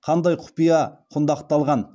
қандай құпия құндақталған